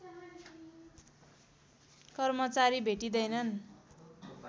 कर्मचारी भेटिँदैनन्